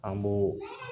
An b'o